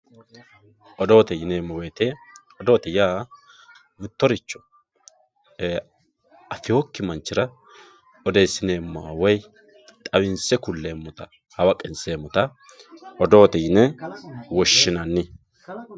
Odoote yineemo woyite, ofootte yaa mittoricho affewokki manchirra oddeesineemotta woyi xawinse kuleemotta hawaqqinseemotta odootte yine woshinanni